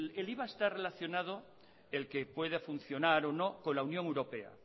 el iva está relacionado el que pueda funcionar o no con la unión europea